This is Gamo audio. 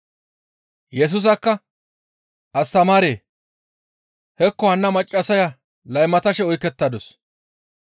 Yesusakka, «Astamaaree! Hekko hanna maccassaya laymatashe oykettadus.